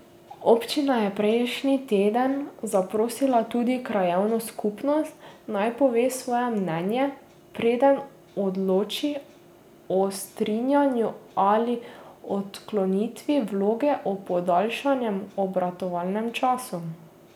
Občina je prejšnji teden zaprosila tudi krajevno skupnost, naj pove svoje mnenje, preden odloči o strinjanju ali odklonitvi vloge o podaljšanem obratovalnem času.